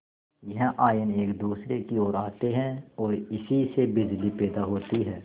यह आयन एक दूसरे की ओर आते हैं ओर इसी से बिजली पैदा होती है